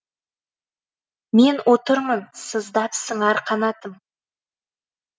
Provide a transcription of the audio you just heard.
мен отырмын сыздап сыңар қанатым